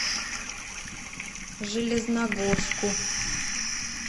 железногорску